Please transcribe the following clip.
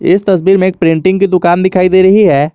इस तस्वीर में एक प्रिंटिंग की दुकान दिखाई दे रही है।